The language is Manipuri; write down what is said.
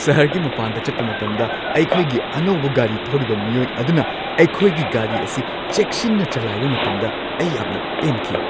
ꯁꯍꯔꯒꯤ ꯃꯄꯥꯟꯗ ꯆꯠꯄ ꯃꯇꯝꯗ ꯑꯩꯈꯣꯏꯒꯤ ꯑꯅꯧꯕ ꯒꯥꯔꯤ ꯊꯧꯔꯤꯕ ꯃꯤꯑꯣꯏ ꯑꯗꯨꯅ ꯑꯩꯈꯣꯏꯒꯤ ꯒꯥꯔꯤ ꯑꯁꯤ ꯆꯦꯛꯁꯤꯟꯅ ꯆꯂꯥꯏꯕ ꯃꯇꯝꯗ ꯑꯩ ꯌꯥꯝꯅ ꯄꯦꯟꯈꯤ ꯫